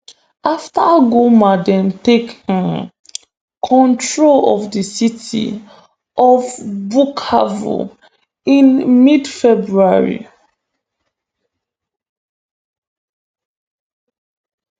afta goma dem take um control of di city of bukavu in midfebruary